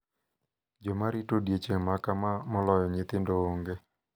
Jomarito odiechieng` makama moloyo nyithindo onge.